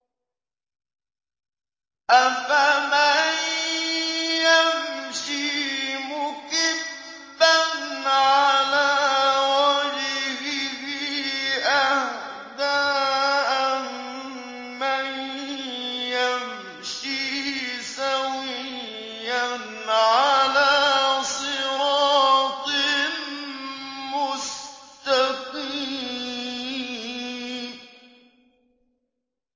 أَفَمَن يَمْشِي مُكِبًّا عَلَىٰ وَجْهِهِ أَهْدَىٰ أَمَّن يَمْشِي سَوِيًّا عَلَىٰ صِرَاطٍ مُّسْتَقِيمٍ